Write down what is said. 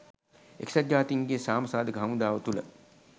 එක්සත් ජාතීන්ගේ සාම සාධක හමුදාව තුළ